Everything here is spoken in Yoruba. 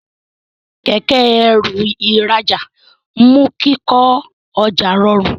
Kẹ̀kẹ́-ẹrù ìrajà mú kíkọ ọjà rọrun.